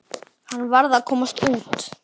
Hann varð að komast út.